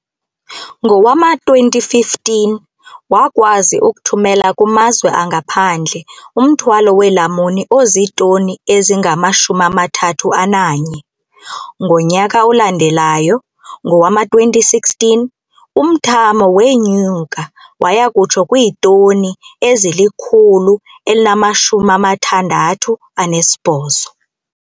Ngowama-2015, wakwazi ukuthumela kumazwe angaphandle umthwalo weelamuni ozitoni ezingama-31. Ngonyaka olandelayo, ngowama-2016, umthamo wenyuka waya kutsho kwiitoni ezili-168.